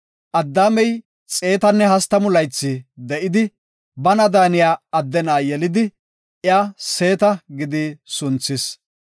Addaamey 130 laythi de7idi, bana daaniya adde na7a yelidi iya “Seeta” gidi sunthis.